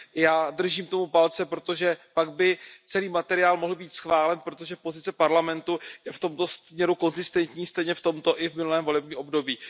Já držím tomu palce, protože pak by celý materiál mohl být schválen, protože pozice Parlamentu je v tomto směru konzistentní stejně v tomto i v minulém období.